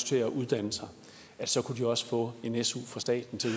til at uddanne sig så kunne de også få en su fra staten til at